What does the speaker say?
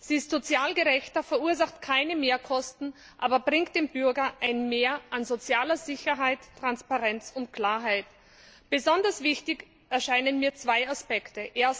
Sie ist sozial gerechter, verursacht keine Mehrkosten, aber bringt dem Bürger ein Mehr an sozialer Sicherheit, Transparenz und Klarheit. Besonders wichtig erscheinen mir zwei Aspekte.